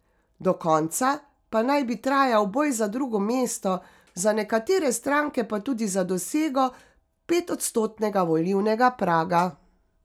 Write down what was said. Do konca pa naj bi trajal boj za drugo mesto, za nekatere stranke pa tudi za dosego petodstotnega volilnega praga.